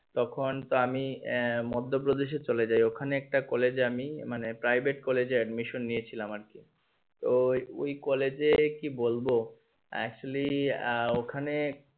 তখন তো আমি আহ মধ্যপ্রদেশে চলেযাই ওখানে এক কলেজে আমি মানে private কলেজে admission নিয়ে ছিলাম আরকি তো ওই ওই কলেজে কি বলবো actually আহ ওখানে